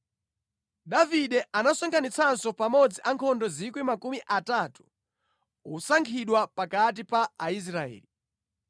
Davide anasonkhanitsanso pamodzi ankhondo 3,000 osankhidwa pakati pa Aisraeli.